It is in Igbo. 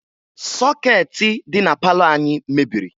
Sọkeetị dị na palọ anyị mebiri